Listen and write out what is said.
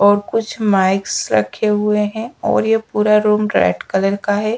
और कुछ माइक्स रखे हुए हैं और ये पूरा रोम रेड कलर का है।